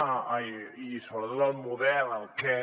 ai i sobretot el model el què